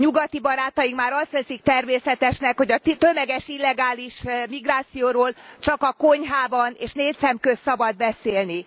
Nyugati barátaink már azt veszik természetesnek, hogy a tömeges illegális migrációról csak a konyhában és négyszemközt szabad beszélni.